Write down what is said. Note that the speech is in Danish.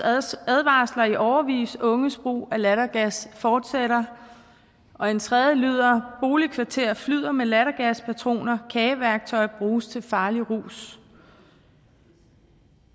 advarsler i årevis unges brug af lattergas fortsætter og en tredje lyder boligkvarterer flyder med lattergaspatroner kageværktøj bruges til farlig rus